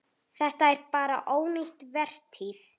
Þetta er bara ónýt vertíð.